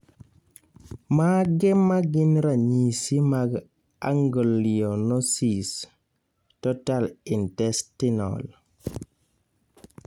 Mage magin ranyisi mag Aganglionosis, total intestinal